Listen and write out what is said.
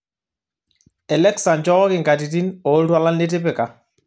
elexa nchooki nkatitin ooltualan litipika